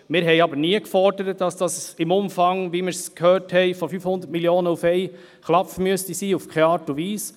Wir haben aber nie, in keiner Art und Weise gefordert, dass das im Umfang von 500 Mio. Franken auf einen Schlag sein müsse, wie wir es gehört haben.